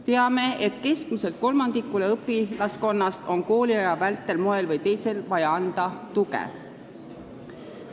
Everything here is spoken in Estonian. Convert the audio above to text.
Teame, et keskmiselt kolmandikule õpilaskonnast on kooliaja vältel moel või teisel vaja anda tuge.